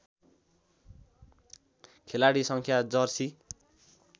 खेलाडी सङ्ख्या जर्सी